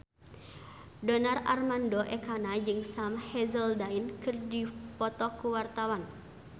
Donar Armando Ekana jeung Sam Hazeldine keur dipoto ku wartawan